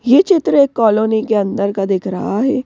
ये चित्र एक कालोनी के अन्दर का दिख रहा है।